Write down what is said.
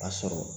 A sɔrɔ